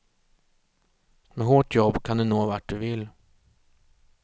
Med hårt jobb kan du nå vart du vill.